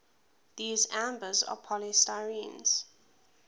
these ambers are polystyrenes